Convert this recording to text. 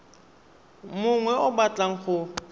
mongwe yo o batlang go